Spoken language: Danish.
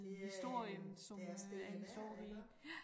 Det øh det er stikket der iggå